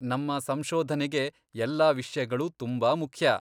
ನಮ್ಮ ಸಂಶೋಧನೆಗೆ ಎಲ್ಲಾ ವಿಷ್ಯಗಳೂ ತುಂಬಾ ಮುಖ್ಯ.